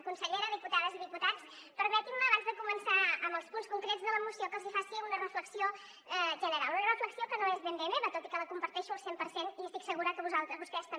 consellera diputades i diputats permetin me abans de començar amb els punts concrets de la moció que els hi faci una reflexió general una reflexió que no és ben bé meva tot i que la comparteixo al cent per cent i estic segura que vostès també